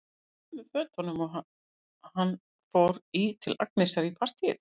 Hann er í sömu fötunum og hann fór í til Agnesar í partíið.